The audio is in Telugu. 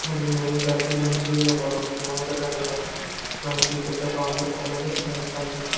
ఇది మెయిన్ సర్కిల్ నుంచి ఒక రెండు కిలో మీటర్లు వెళ్తే మనకి పెద్ద కాంప్లెక్స్ అనేది మనకు కనిపిస్తుంది.